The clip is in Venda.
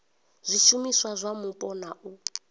zwishumiswa zwa mupo na u